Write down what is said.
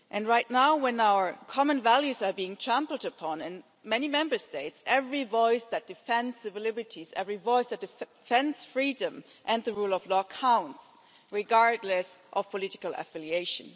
Right now, when our common values are being trampled upon in many Member States, every voice that defends civil liberties and every voice that defends freedom and the rule of law counts, regardless of political affiliation.